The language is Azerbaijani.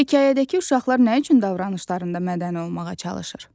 Hekayədəki uşaqlar nə üçün davranışlarında mədəni olmağa çalışır?